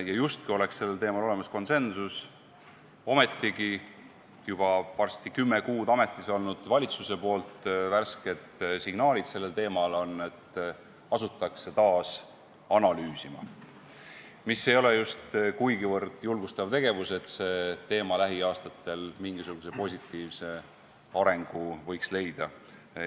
Sel teemal oleks justkui olemas konsensus, ometi varsti juba kümme kuud ametis olnud valitsuse värsked signaalid on sellised, et asutakse taas analüüsima – see ei ole just kuigivõrd julgustav tegevus, mille abil see teema lähiaastatel mingisuguse positiivse arengusuuna võiks leida.